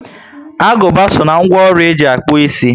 Aguba so ná ńgwọ ọrụ e ji akpu ịsị